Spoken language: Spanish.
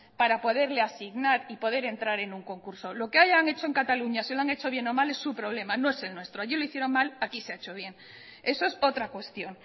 para poderle asignar y poder entrar en un concurso lo que hayan hecho en cataluña si lo han hecho bien o mal es su problema no es el nuestro allí lo hicieron mal aquí se ha hecho bien eso es otra cuestión